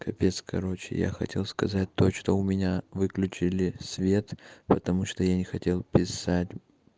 капец короче я хотел сказать то что у меня выключили свет потому что я не хотел писать